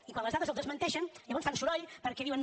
i quan les dades els desmenteixen llavors fan soroll perquè diuen